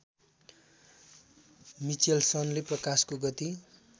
मिचेल्सनले प्रकाशको गति